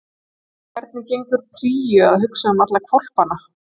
En hvernig gengur Kríu að hugsa um alla hvolpana?